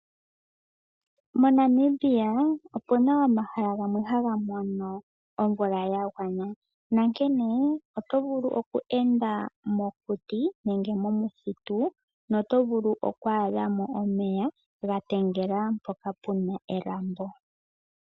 MoNamibia opuna omahala gamwe haga mono omvula ya gwana nankene oto vulu oku enda mokuti nenge momuthitu noto vulu oku adha mo omeya ga tendela mpoka puna elambo.